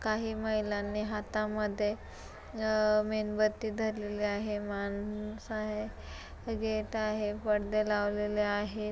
काही महिलांनी हातामध्ये अ मेणबत्ती धरलेले आहे. मानस आहे. गेट आहे. परदे लावलेले आहेत.